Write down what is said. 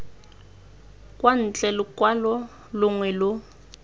kwa ntle lokwalo longwe lo